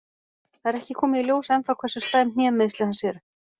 Það er ekki komið í ljós ennþá hversu slæm hnémeiðsli hans eru.